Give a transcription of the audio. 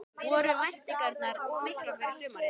Voru væntingarnar of miklar fyrir sumarið?